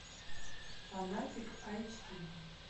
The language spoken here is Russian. фанатик эйч ди